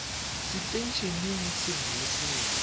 setei eneng sengwe le sengwe